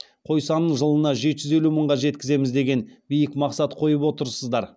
қой санын жылына жеті жүз елу мыңға жеткіземіз деген биік мақсат қойып отырсыздар